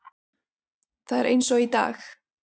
Það er eins og í dag.